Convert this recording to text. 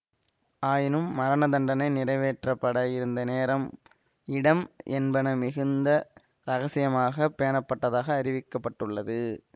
ஆயினும் மரண தண்டனை நிறைவேற்றப்பட இருந்த நேரம் இடம் என்பன மிகுந்த இரகசியமாக பேணப்பட்டதாக அறிவிக்க பட்டுள்ளது